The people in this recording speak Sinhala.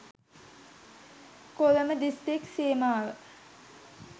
කොළඹ දිස්ත්‍රික් සීමාව